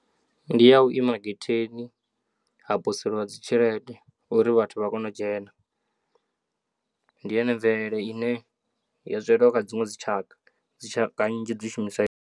Ndi ya u ima getheni ha poselwa dzi tshelede uri vhathu vha kone u dzhena, ndi yone mvelele ine ya zwelwa kha dziṅwe dzi tshaka dzi tshaka nnzhi dzi shumisa.